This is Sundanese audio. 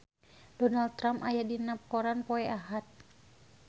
Donald Trump aya dina koran poe Ahad